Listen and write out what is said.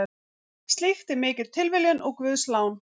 Slíkt er mikil tilviljun og guðslán.